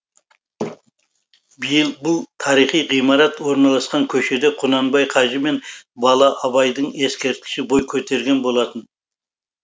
биыл бұл тарихи ғимарат орналасқан көшеде құнанбай қажы мен бала абайдың ескерткіші бой көтерген болатын